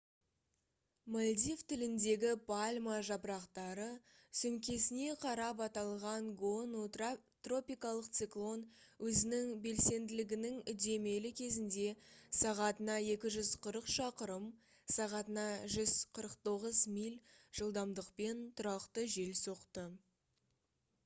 мальдив тіліндегі пальма жапырақтары сөмкесіне қарап аталған гону тропикалық циклон өзінің белсенділігінің үдемелі кезінде сағатына 240 шақырым сағатына 149 миль жылдамдықпен тұрақты жел соқты